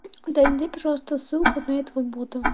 да найди пожалуйста ссылку на этого бота